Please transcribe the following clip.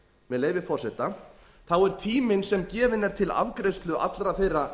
með leyfi forseta þá er tíminn sem gefinn er til afgreiðslu allra þeirra